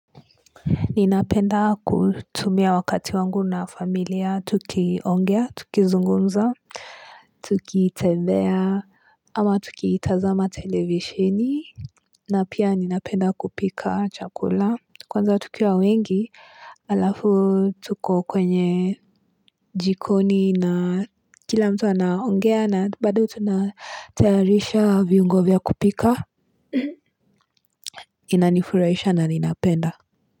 Ninapenda kutumia wakati wangu na familia tukiongea tukizungumza Tukitembea ama tukitazama televisheni na pia ninapenda kupika chakula Kwanza tukiwa wengi alafu tuko kwenye jikoni na kila mtu anaongea na bado tunatayarisha viungo vya kupika inanifurahisha na ninapenda.